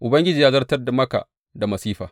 Ubangiji ya zartar maka da masifa.